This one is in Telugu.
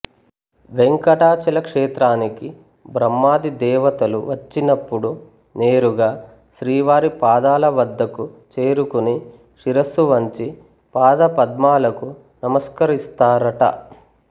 వేంకటాచల క్షేత్రానికి బ్రహ్మాది దేవతలు వచ్చినపుడు నేరుగా శ్రీవారి పాదాల వద్దకు చేరుకుని శిరస్సు వంచి పాదపద్మాలకు నమస్కరిస్తారట